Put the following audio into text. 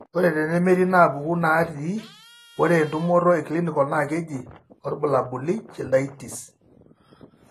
Ore tenemetii inaapuku naatii, ore entumoto eclinical naa keji orbulabuli Chilaiditi's..